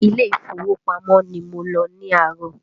Ilé ìfowópamọ́ ni mo lọ ní àárọ̀